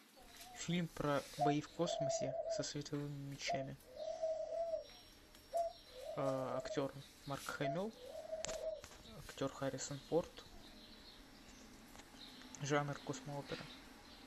фильм про бои в космосе со световыми мечами актер марк хэмилл актер харрисон форд жанр космоопера